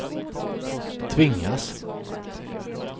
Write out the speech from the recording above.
tvingas